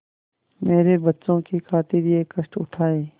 मेरे बच्चों की खातिर यह कष्ट उठायें